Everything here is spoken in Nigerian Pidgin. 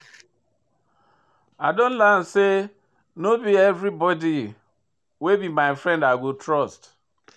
I don learn sey no be everybodi wey be my friend I go trust.